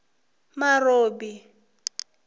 marobi